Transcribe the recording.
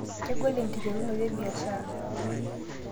kegol enkiterunoto ebiashara